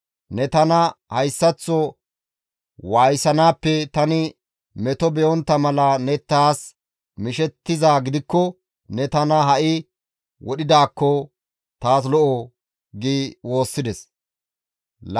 Ne tana hayssaththo waayisanaappe tani meto be7ontta mala ne taas mishettizaa gidikko ne tana ha7i wodhidaakko taas lo7o» gi woossides.